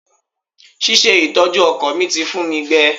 Ṣíṣe ìtọ́jú ọkọ̀ mi ti fun mi gbẹ.